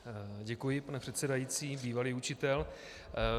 Děkuji, pane předsedající, bývalý učitel.